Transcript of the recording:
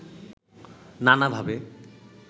নানাভাবে